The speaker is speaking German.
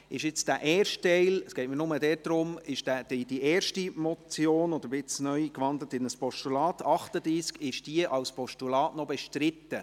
Ist nun der erste Teil – es geht mir nur darum –, der nun unter Traktandum 38 in ein Postulat gewandelten Motion als Postulat noch bestritten?